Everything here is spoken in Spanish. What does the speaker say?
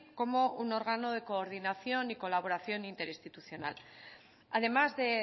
como un órgano de coordinación y colaboración interinstitucional además de